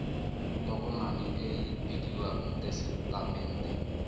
tokomane e e bidiwang tesetamente